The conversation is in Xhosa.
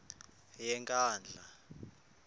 yenkandla